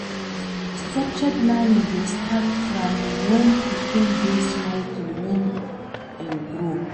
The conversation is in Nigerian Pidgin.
Structured learning de start from when pikin de small till when im grow